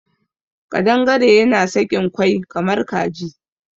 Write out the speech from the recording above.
Ƙadangare yana sakin kwai kamar Kaji.